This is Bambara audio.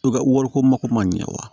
To ka wari ko mako man ɲɛ wa